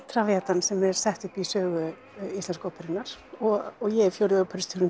Traviatan sem er sett upp í sögu Íslensku óperunnar og ég er fjórði